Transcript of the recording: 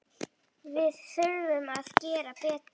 Við þurfum að gera betur.